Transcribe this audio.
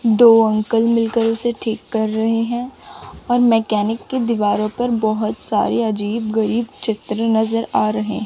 दो अंकल मिलकर उसे ठीक कर रहे हैं और मैकेनिक की दीवारों पर बहोत सारी अजीब गरीब चित्र नजर आ रहें--